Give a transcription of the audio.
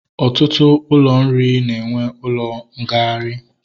Ọtụtụ ụlọ nri na-enwe ụlọ ngagharị